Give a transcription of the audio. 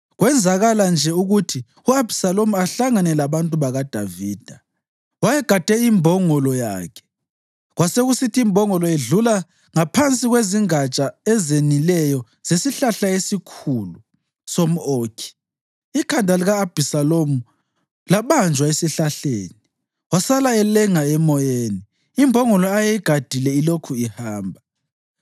Kwenzakala nje ukuthi u-Abhisalomu ahlangane labantu bakaDavida. Wayegade imbongolo yakhe, kwasekusithi imbongolo idlula ngaphansi kwezingatsha ezenileyo zesihlahla esikhulu somʼOkhi, ikhanda lika-Abhisalomu labanjwa esihlahleni. Wasala elenga emoyeni, imbongolo ayeyigadile ilokhu ihamba.